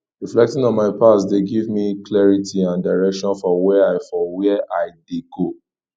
reflecting on my past dey give me clarity and direction for where i for where i dey go